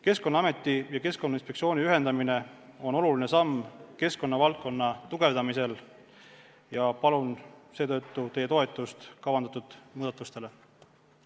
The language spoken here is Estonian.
Keskkonnaameti ja Keskkonnainspektsiooni ühendamine on oluline samm keskkonnavaldkonna tugevdamisel ja palun seetõttu teie toetust kavandatud muudatustele.